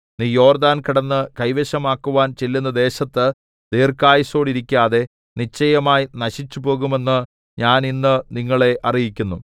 നീ യോർദ്ദാൻ കടന്ന് കൈവശമാക്കുവാൻ ചെല്ലുന്ന ദേശത്ത് ദീർഘായുസ്സോടിരിക്കാതെ നിശ്ചയമായി നശിച്ചുപോകുമെന്ന് ഞാൻ ഇന്ന് നിങ്ങളെ അറിയിക്കുന്നു